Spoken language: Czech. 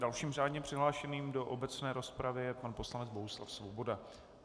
Dalším řádně přihlášeným do obecné rozpravy je pan poslanec Bohuslav Svoboda.